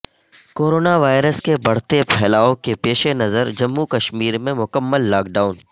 corona virus کے بڑھتے پھیلا ئو کے پیش نظر جموں کشمیر میں مکمل لاک ڈائون